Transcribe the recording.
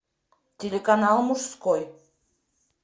телеканал мужской